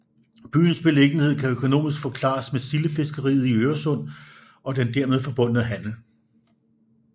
Byens beliggenhed kan økonomisk forklares med sildefiskeriet i Øresund og den dermed forbundne handel